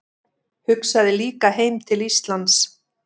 Hugsaði líka heim til Íslands.